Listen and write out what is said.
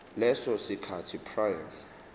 leso sikhathi prior